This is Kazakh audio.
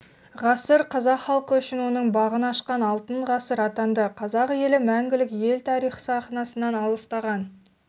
ғасыр қазақ халқы үшін оның бағын ашқан алтын ғасыр атанды қазақ елі мәңгілік ел тарих сахнасынан алыстаған